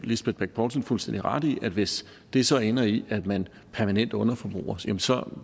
lisbeth bech poulsen fuldstændig ret i at hvis det så ender i at man permanent underforbruger jamen så